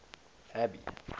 abby